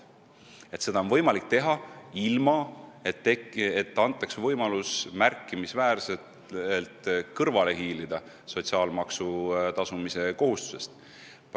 Seda peab olema võimalik teha, ilma et inimestele antaks võimalus sotsiaalmaksu tasumise kohustusest kõrvale hiilida.